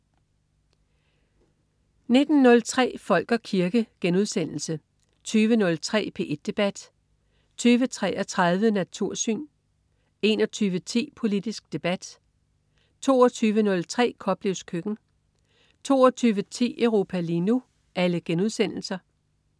19.03 Folk og kirke* 20.03 P1 Debat* 20.33 Natursyn* 21.10 Politisk debat* 22.03 Koplevs køkken* 22.10 Europa lige nu*